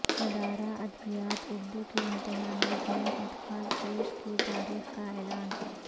ادارہ ادبیات اردو کے امتحانات مئی ادخال فیس کی تاریخ کا اعلان